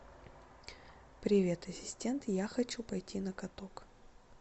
привет ассистент я хочу пойти на каток